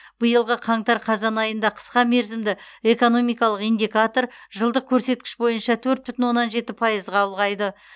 биылғы қаңтар қазан айында қысқа мерзімді экономикалық индикатор жылдық көрсеткіш бойынша төрт бүтін оннан жеті пайызға ұлғайды